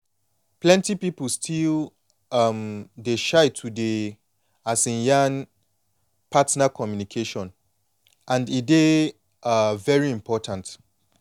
plenty people still um dey shy to dey um yan partner communication and e dey um very important